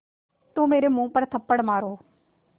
तो मेरे मुँह पर थप्पड़ मारो